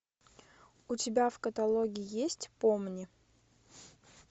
у тебя в каталоге есть помни